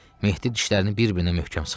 Mehdi dişlərini bir-birinə möhkəm sıxdı.